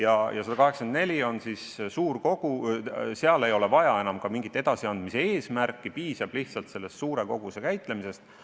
§ 184 koosseisu puhul ei ole juttu enam mingist edasiandmisest, piisab lihtsalt selle suure koguse käitlemisest.